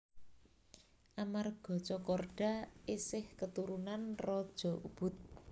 Amarga Tjokorda esih katurunan raja Ubud